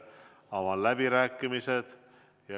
Avan läbirääkimised.